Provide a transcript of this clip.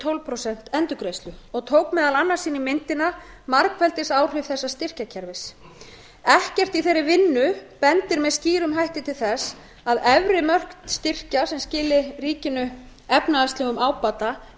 tólf prósent endurgreiðslu og tók meðal annars inn í myndina margfeldisáhrif þessa styrkjakerfis ekkert í þeirri vinnu bendir með skýrum hætti til þess að efri mörk styrkja sem skiluðu ríkinu efnahagslegum ábata